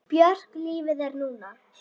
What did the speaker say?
Björk Lífið er núna!